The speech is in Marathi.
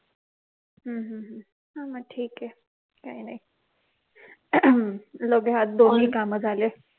हम्म हो ना ठीके काही नाही लगे हात दोनही काम झाले